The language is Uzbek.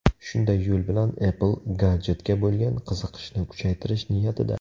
Shunday yo‘l bilan Apple gadjetga bo‘lgan qiziqishni kuchaytirish niyatida.